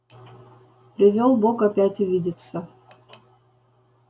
привёл бог опять увидеться